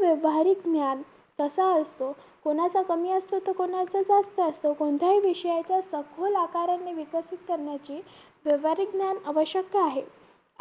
व्यावहारिक ज्ञान कसा असतो कोणाचा कमी असतो तर कोणाचा जास्त असतो कोणत्याही विषयाच सखोल आकाराने विकसित करण्याची व्यवहारिक ज्ञान आवश्यक आहे